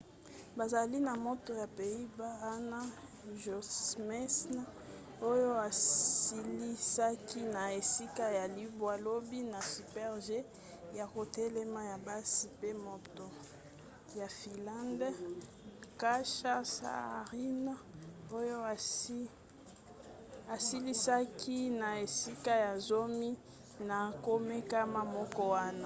bazali na moto ya pays-bas anna jochemsen oyo asilisaki na esika ya libwa lobi na super-g ya kotelema ya basi pe moto ya finlande katja saarinen oyo asilisaki na esika ya zomi na komekama moko wana